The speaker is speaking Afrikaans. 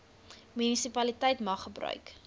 munisipaliteit mag gebruik